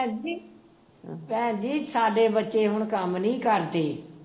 ਭੈਣ ਜੀ ਭੈਣ ਜੀ ਸਾਡੇ ਬੱਚੇ ਹੁਣ ਕੰਮ ਨੀ ਕਰਦੇ